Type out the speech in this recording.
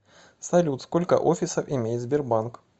салют сколько офисов имеет сбербанк